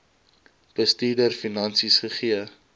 bestuurder finansies gegee